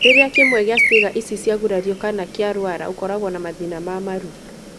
Rĩrĩa kĩmwe gĩa ciega ici ciagurario kana kĩaruara ũkoragwo na mathĩna ma maru.